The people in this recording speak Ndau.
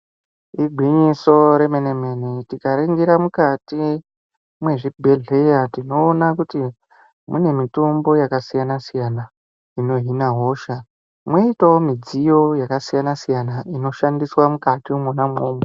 Igwinyiso remenemene tikaringira mukati mwezvibhehleya tinoone kuti mune mitombo yakasiyanasiyana inohina hosha mwoitawo midziyo yakasiyanasiyana inoshandiswa mukatimwona imwomwo.